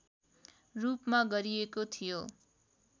रूपमा गरिएको थियो